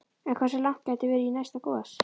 En hversu langt gæti verið í næsta gos?